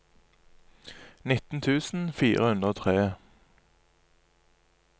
nitten tusen fire hundre og tre